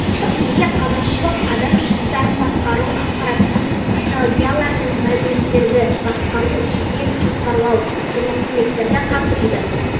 салықтық есеп қазынашылық адам ресурстарын басқару ақпараттық технологиялардың мәліметтерді басқару жедел жоспарлау және қызметтерді қамтиды